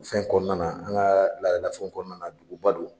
Fɛn kɔɔna na an ŋaa laadala fɛnw kɔɔna la duguba don.